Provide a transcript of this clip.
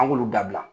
An k'olu dabila